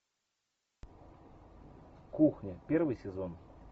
кухня первый сезон